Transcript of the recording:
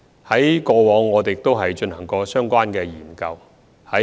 我們過往亦曾進行相關研究。